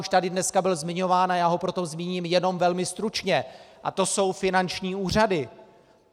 Už tady dneska byl zmiňován, a já ho proto zmíním jenom velmi stručně, a to jsou finanční úřady.